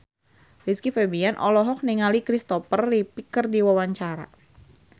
Rizky Febian olohok ningali Christopher Reeve keur diwawancara